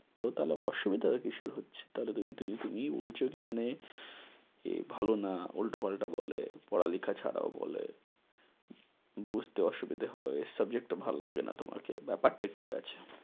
ও। তাহলে অসুবিধাটা কীসের হচ্ছে? তাহলে তুমি তুমি তুমি তুমিই বলছো কী মানে এ ভালো না, উল্টোপাল্টা বলে পড়ালেখা ছাড়াও বলে, বুঝতে অসুবিধা হয়, subject টা ভাল্লাগে না তোমাকে, ব্যাপারটা কী আছে?